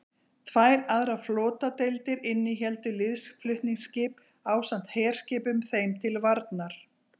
tvær aðrar flotadeildir innihéldu liðsflutningaskip ásamt herskipum þeim til varnar